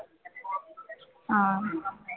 हा